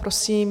Prosím.